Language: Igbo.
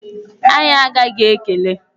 Anyị agaghị ekele!